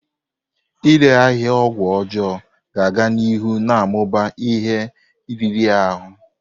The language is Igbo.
Ịre ahịa ọgwụ ọjọọ ga-aga n'ihu na-amụba ihe riri ahụ.